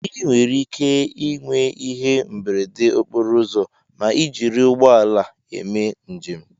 ị nwere ike ịnwe ihe mberede okporo ụzọ ms ị jiri ụgbọ ala eme njem